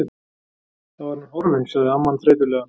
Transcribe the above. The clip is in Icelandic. Þá er hann horfinn sagði amman þreytulega.